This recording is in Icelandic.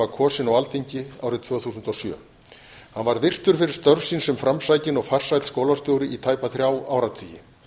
kosinn á alþingi árið tvö þúsund og sjö hann varð virtur fyrir störf sín sem framsækinn og farsæll skólastjóri í tæpa þrjá áratugi